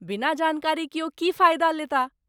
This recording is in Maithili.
बिना जानकारी कियो की फायदा लेताह।